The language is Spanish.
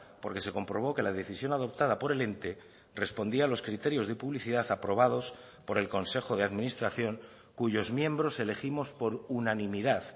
porque se comprobó que la decisión adoptada por el ente respondía a los criterios de publicidad aprobados por el consejo de administración cuyos miembros elegimos por unanimidad